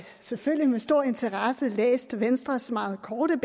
selvfølgelig med stor interesse læst venstres meget korte